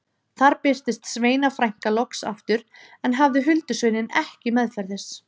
Þar birtist Sveina frænka loks aftur en hafði huldusveininn ekki meðferðis.